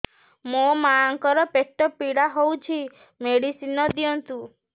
ମୋ ମାଆଙ୍କର ପେଟ ପୀଡା ହଉଛି ମେଡିସିନ ଦିଅନ୍ତୁ